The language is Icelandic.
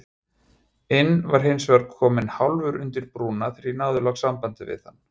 inn var hinsvegar kominn hálfur undir brúna þegar ég náði loks sambandi við hann.